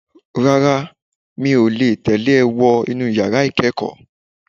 Rárá, mi ò tẹ̀lé e wá sínú yàrá ìkẹ́kọ̀ọ́.